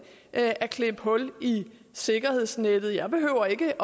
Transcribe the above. at at klippe hul i sikkerhedsnettet jeg behøver ikke